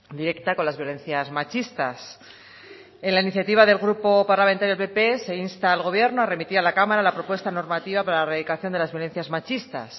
directa con las violencias machistas en la iniciativa del grupo parlamentario del pp se insta al gobierno a remitir a la cámara la propuesta normativa para erradicación de las violencias machistas